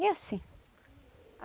E assim.